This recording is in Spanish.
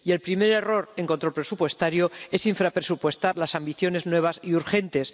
Y el primer error en control presupuestario es infrapresupuestar las ambiciones nuevas y urgentes.